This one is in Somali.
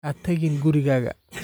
Ha tagin gurigaaga